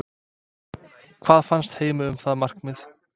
Hvað fannst Heimi um það markmið?